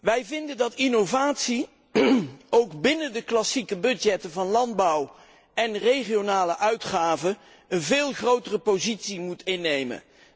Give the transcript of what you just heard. Wij vinden dat innovatie ook binnen de klassieke begrotingen van landbouw en regionale uitgaven een veel grotere positie moet innemen.